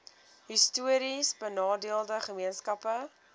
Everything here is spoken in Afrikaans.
histories benadeelde gemeenskappe